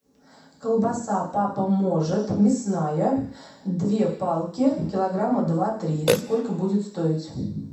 колбаса папа может мясная две палки килограмма два три сколько будет стоить